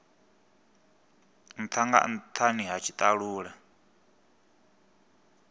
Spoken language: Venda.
ntha nga nthani ha tshitalula